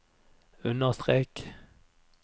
understrek